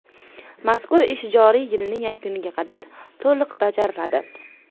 Mazkur ish joriy yilning yakuniga qadar to‘liq bajariladi.